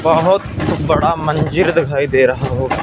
बहुत बड़ा मंजीर दिखाई दे रहा होगा।